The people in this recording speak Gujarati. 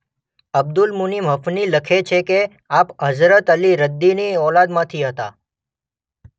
અબ્દુલ મુન્ઇમ હફની લખે છે કે આપ હઝરત અલી રદિની ઔલાદમાંથી હતા.